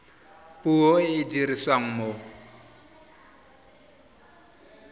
puo e e dirisiwang mo